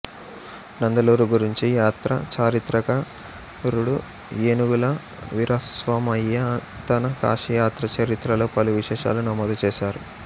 నందలూరు గురించి యాత్రాచరిత్రకారుడు ఏనుగుల వీరాస్వామయ్య తన కాశీయాత్రాచరిత్రలో పలు విశేషాలు నమోదుచేశారు